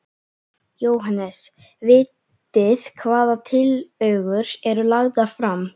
Jóhannes: Vitið hvaða tillögur eru lagðar fram?